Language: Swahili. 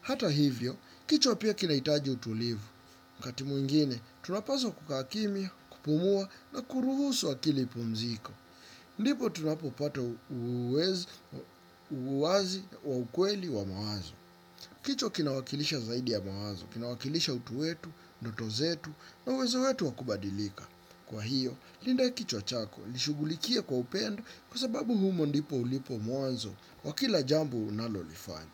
Hata hivyo, kichwa pia kinahitaji utulivu. Wakati mwingine tunapazwa kukaa kimya, kupumua na kuruhusu akili ipumzike. Ndipo tunapopata uwezo wa ukweli wa mawazo. Kichwa kinawakilisha zaidi ya mawazo. Kinawakilisha utu wetu, ndoto zetu na uwezo wetu wa kubadilika. Kwa hiyo, linda kichwa chako ishughulikie kwa upendo kwa sababu humo ndipo ulipo mwanzo wa kila jambo unalolifanya.